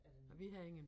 Er det nok